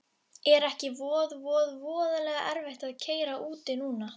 Er ekki voð voð voðalega erfitt að keyra úti núna?